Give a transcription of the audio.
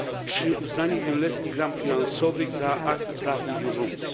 czy o uznaniu wieloletnich ram finansowych za akt prawnie wiążący.